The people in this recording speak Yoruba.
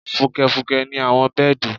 Fùkẹ̀fùkẹ̀ ni àwọn bẹ́ẹ̀dì